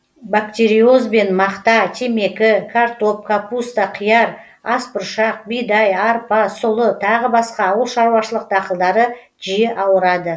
бактериозбен мақта темекі картоп капуста қияр ас бұршақ бидай арпа сұлы тағы басқа ауыл шаруашылық дақылдары жиі ауырады